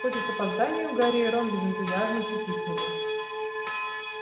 хоть и с опозданием гарри и рон без энтузиазма хихикнули